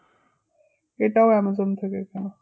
এটাও আমাজন থেকে কেনা